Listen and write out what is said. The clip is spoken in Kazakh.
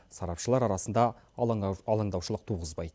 сарапшылар арасында алаңдаушылық туғызбайды